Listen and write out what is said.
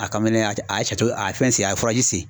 A kan mɛ ne ye a a ye a ye fɛn sen a ye sen.